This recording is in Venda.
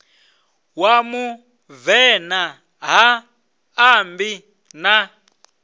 wa muvenḓa ha ṋambi a